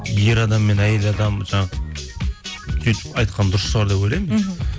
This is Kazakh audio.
ер адам мен әйел адам жаңағы сөйтіп айтқан дұрыс шығар деп ойлаймын мхм